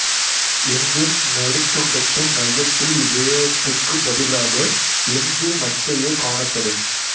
என்பின் நடுத்துண்டத்தின் மையத்தில் இவ்விழையத்துக்குப் பதிலாக என்பு மச்சையே காணப்படும்